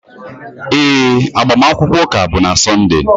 Ee, agbamakwụkwọ ụka bụ na Sọnde.